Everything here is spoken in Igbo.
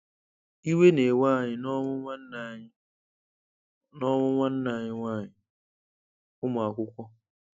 Ị̀wẹ̀ na-ewe anyị n’ọnwụ́ nwanne anyị n’ọnwụ́ nwanne anyị nwanyị – Ụmụakwụkwọ.